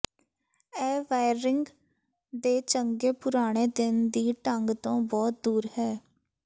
ਇਹ ਵਾਇਰਰਿੰਗ ਦੇ ਚੰਗੇ ਪੁਰਾਣੇ ਦਿਨ ਦੀ ਢੰਗ ਤੋਂ ਬਹੁਤ ਦੂਰ ਹੈ